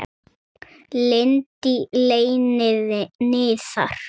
Lind í leyni niðar.